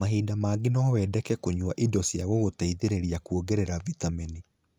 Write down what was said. Mahinda mangĩ no wendeke kũnyua indo cĩa gũngũteithĩrĩria kuongerera vitamini